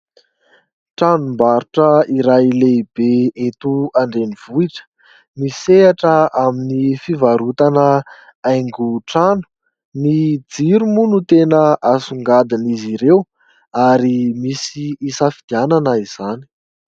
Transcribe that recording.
tranombarotra iray lehibe eto andreny vohitra misehatra amin'ny fivarotana aingo trano ny jiromo no tena asongadin' izy ireo ary misy isafidianana izany